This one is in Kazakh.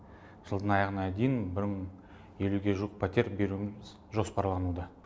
жылдың аяғына дейін бір мың елуге жуық пәтер беруіміз жоспарлануда